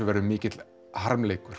verður mikill harmleikur